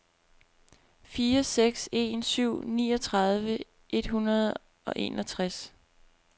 fire seks en syv niogtredive et hundrede og enogtres